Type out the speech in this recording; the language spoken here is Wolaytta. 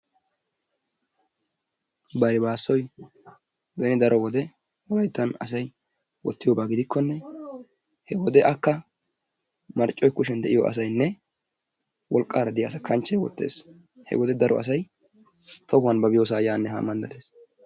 Baribaassoy wollayttan beni wode asay wottiyooba gidikkone he wode marccoy kushshiyaan de'iyoo asaynne wolqqaara diyaa asaa kanchchee oottees. He wode daro asay tohuwaan ba biyoosa yaanne haa bees.